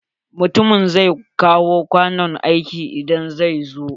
Mutumin zai kawo kwanon aiki idan zai zo.